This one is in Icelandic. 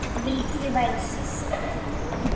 Vildi ég væri systir.